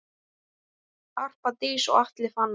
Harpa Dís og Atli Fannar.